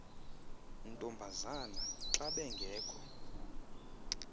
ntombazana xa bengekho